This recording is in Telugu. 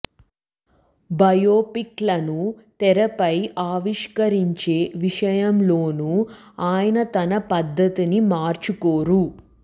బయోపిక్ లను తెరపై ఆవిష్కరించే విషయంలోనూ ఆయన తన పద్ధతిని మార్చుకోరు